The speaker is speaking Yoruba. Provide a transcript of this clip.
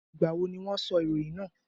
Ìgbà wo ni wọ́n sọ ìròyìn náà?